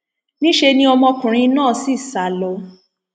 níṣẹ ni ọmọkùnrin náà sì sá lọ